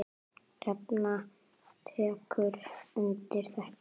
Hrefna tekur undir þetta.